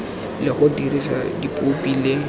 le go dirisa dipopi le